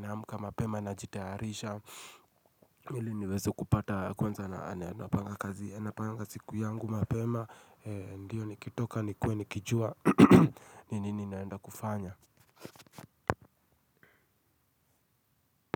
na amka mapema najitayarisha ili niweze kupata kwanza na napanga kazi napanga siku yangu mapema. Ndio nikitoka nikue nikijua ni nini naenda kufanya.